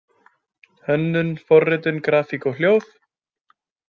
Hönnun, forritun, grafík og hljóð.